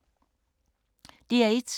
DR1